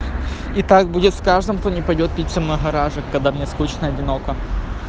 и так будет с каждым кто не пойдёт пить со мной в гаражик когда мне скучно и одиноко